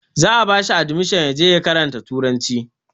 Za a ba shi adimishon ya je ya karanta turanci